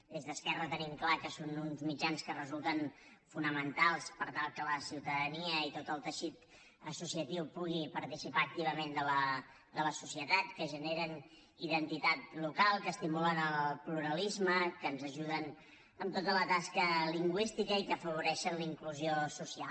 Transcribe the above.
des d’esquerra tenim clar que són uns mitjans que resulten fonamentals per tal que la ciutadania i tot el teixit associatiu puguin participar activament de la societat que generen identitat local que estimulen el pluralisme que ens ajuden amb tota la tasca lingüística i que afavoreixen la inclusió social